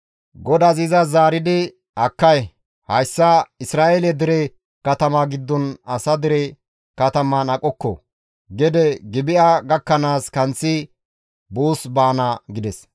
Godazi izas zaaridi, «Akkay! Hayssa Isra7eele dere katama gidontta asa dere kataman aqokko; gede Gibi7a gakkanaas kanththi buus baana» gides.